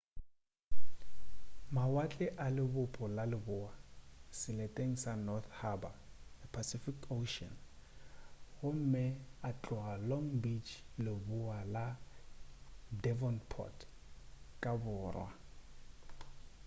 mawatle a lebopo la lebowa seleteng sa north harbour a pacific ocean gomme a tloga long bay lebowa la devonport ka borwa